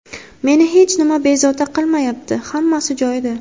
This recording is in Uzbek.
Meni hech nima bezovta qilmayapti, hammasi joyida.